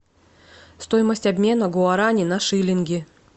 стоимость обмена гуарани на шиллинги